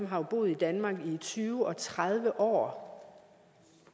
har boet i danmark i tyve og tredive år